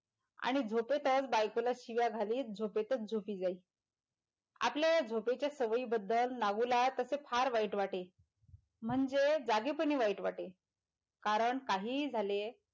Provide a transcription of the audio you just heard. आणी झोपेतच बायकोला शिव्या घालीत झोपेतच झोपी जाई आपल्या या झोपेच्या सवयींबद्दल नागू ला त्याचे फार वाईट वाटे म्हणजे जागे पणी वाईट वाटे कारण काहीही झाले,